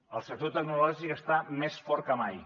el sector tecnològic està més fort que mai